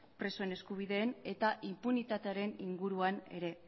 presoen eskubideen eta inpunitatearen inguruan ere